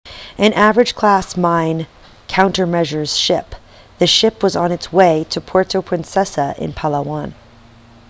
an avenger class mine countermeasures ship the ship was on its way to puerto princesa in palawan